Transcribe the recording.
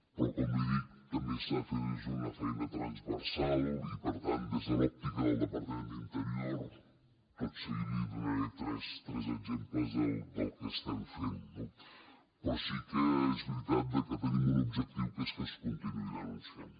però com li dic també s’ha de fer des d’una feina transversal i per tant des de l’òptica del departament d’interior tot seguit li donaré tres exemples del que estem fent no però sí que és veritat que tenim un objectiu que és que es continuï denunciant